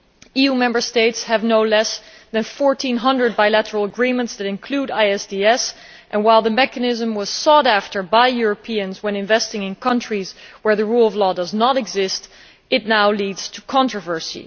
EU Member States have no less than 1400 bilateral agreements that include ISDS, and while the mechanism was sought after by Europeans investing in countries where the rule of law does not exist, it is now leading to controversy.